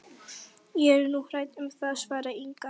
Ég er nú hrædd um það, svaraði Inga.